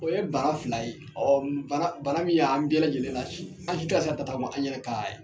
O ye bana fila ye bana bana min y'an bɛɛ lajɛlen lasi, an si tɛ ka se tagama, an yɛrɛ kan ye.